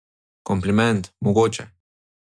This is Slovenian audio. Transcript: Kompliment, mogoče.